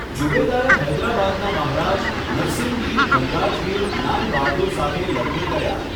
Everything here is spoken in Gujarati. ઝુબેદાએ હૈદરાબાદનાં મહારાજ નરસિંગિર ધનરાજગિર જ્ઞાન બહાદુર સાથે લગ્ન કર્યા.